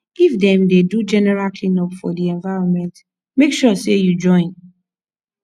if dem de do general clean up for di environment make sure say you join